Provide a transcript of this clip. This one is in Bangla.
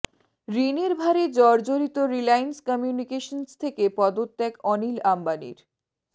ঋণের ভারে জর্জরিত রিলায়েন্স কমিউনিকেশনস থেকে পদত্যাগ অনিল অম্বানীর